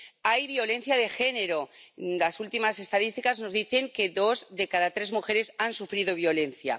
Hay violencia de género —las últimas estadísticas nos dicen que dos de cada tres mujeres han sufrido violencia—.